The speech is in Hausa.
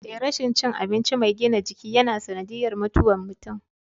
Eh rashin cin abinci mai gina jiki yana sanadiyyar mutuwar mutum.